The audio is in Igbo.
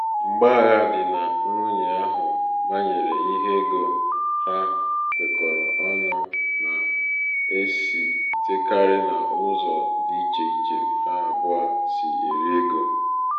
mgbagha di nà nwunye ahụ̀ bànyere ihe ego ha nwèkọ̀rọ̀ ọnụ̄ nà-èsitekarị n’ụzọ dị ichè ichè ha àbụọ̄ sì èri egō